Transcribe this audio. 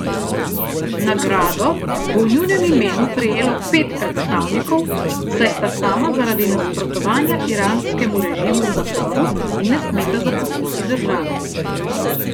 Nagrado bo v njunem imenu prejelo pet predstavnikov, saj sta sama zaradi nasprotovanja iranskemu režimu v zaporu in ne smeta zapustiti države.